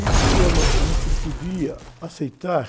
E queriam, ãh, saber se ele podia aceitar...